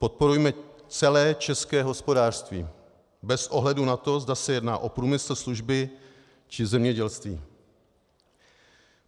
Podporujme celé české hospodářství bez ohledu na to, zda se jedná o průmysl, služby či zemědělství.